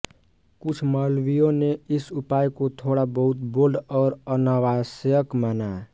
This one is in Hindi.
कुछ मौलवियों ने इस उपाय को थोड़ा बहुत बोल्ड और अनावश्यक माना